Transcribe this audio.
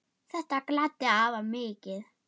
Þetta gladdi afa mikið.